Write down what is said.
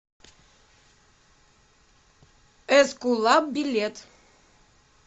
эскулап билет